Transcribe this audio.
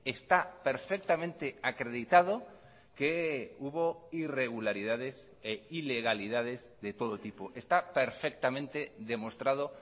está perfectamente acreditado que hubo irregularidades e ilegalidades de todo tipo está perfectamente demostrado